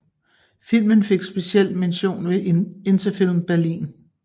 Filmen fik special mention ved Interfilm Berlin